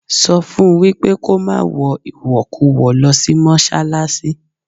Sọ fún wípé kó má wọ ìwọ̀kuwọ̀ lọ sí Mọ́ṣálásí.